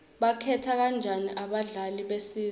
bakhetha kanjani abadlali besizwe